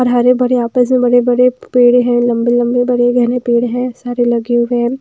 और हरे भरे आपस में बड़े-बड़े पेड़ हैं लंबे-लंबे बड़े गहने पेड़ हैं सारे लगे हुए हैं।